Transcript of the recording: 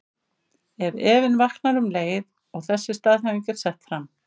En efinn vaknar um leið og þessi staðhæfing er sett fram.